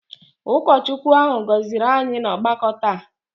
Ụkọchukwu ahụ gọziri anyị n'ọgbakọ taa